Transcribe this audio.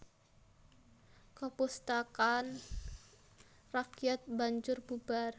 Kapustakan rakyat banjur bubar